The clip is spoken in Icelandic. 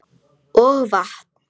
Og vatn.